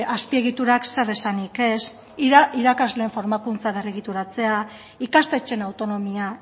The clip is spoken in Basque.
azpiegiturak zer esanik ez irakasleen formakuntza berregituratzea ikastetxeen autonomia